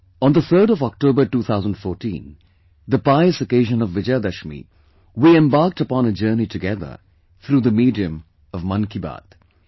On the 3rd of October, 2014, the pious occasion of Vijayadashmi, we embarked upon a journey together through the medium of 'Mann Ki Baat'